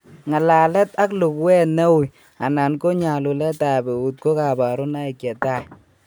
Ng'alalet ak luguet ne ui anan ko nyalulte ab eut ko kabarunoik chetai